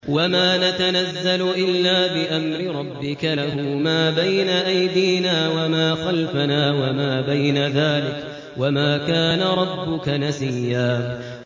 وَمَا نَتَنَزَّلُ إِلَّا بِأَمْرِ رَبِّكَ ۖ لَهُ مَا بَيْنَ أَيْدِينَا وَمَا خَلْفَنَا وَمَا بَيْنَ ذَٰلِكَ ۚ وَمَا كَانَ رَبُّكَ نَسِيًّا